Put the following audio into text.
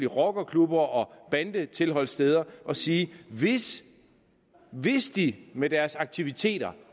rockerklubber og bandetilholdssteder og sige hvis de med deres aktiviteter